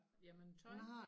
Jamen tøj